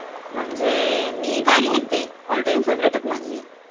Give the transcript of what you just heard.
म्हणजे.....मी गाणी ऐकते, माझी ऑल टाइम फेव्हरेट आहे माझी